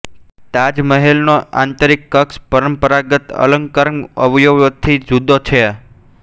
તાજ મહેલનો આંતરિક કક્ષ પરંપરાગત અલંકરણ અવયવોથી જુદો છે